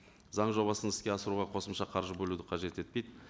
заң жобасын іске асыруға қосымша қаржы бөлуді қажет етпейді